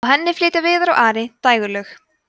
á henni flytja viðar og ari dægurlög